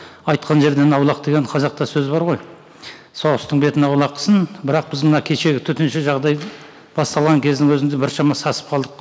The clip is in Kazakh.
айтқан жерден аулақ деген қазақта сөз бар ғой соғыстың бетін аулақ қылсын бірақ біз мына кешегі төтенше жағдайдың басталған кездің өзінде біршама сасып қалдық